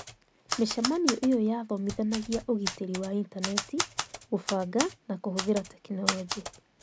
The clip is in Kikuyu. Micemanio ĩyo yathomithanagia ũgitĩri wa intaneti, kũbanga na kũhũthĩra tekinoronjĩ.